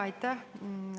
Aitäh!